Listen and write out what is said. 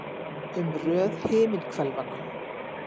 Um röð himinhvelanna.